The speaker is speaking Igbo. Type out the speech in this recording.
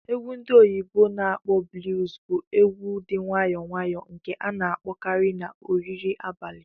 Egwu ndi oyibo na akpo "Blues" bụ egwu dị nwayọ nwayọ nke a na-akpọkarị na oriri nri abalị